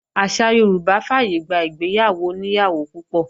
Àṣà Yorùbá fàyègbà ìgbéyàwó oní ìyàwó púpọ̀